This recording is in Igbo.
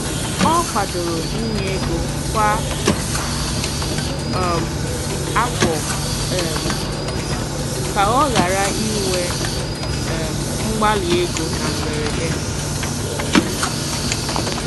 Ọ kwadoro inye ego kwa um afọ um ka ọ ghara inwe um mgbali ego na mberede